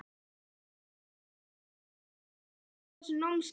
Sunna: Hvað hefur verið skemmtilegast á þessu námskeiði?